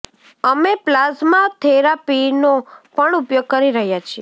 અમે પ્લાઝ્મા થેરાપીનો પણ ઉપયોગ કરી રહ્યા છીએ